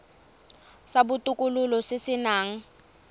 sa botokololo se se nang